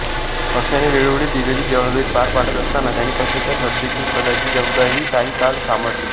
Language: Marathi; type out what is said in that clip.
पक्षाने वेळोवेळी दिललेली जबाबदारी पार पाडत असताना त्यांनी पक्षाच्या सरचिटणीसपदाची जबाबदारीही काही काळ सांभाळली